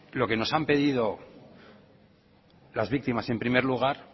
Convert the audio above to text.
lo que nos han pedido las víctimas en primer lugar